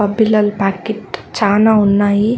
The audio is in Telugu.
ఆ బిళ్ళల ప్యాకెట్ చానా ఉన్నాయి.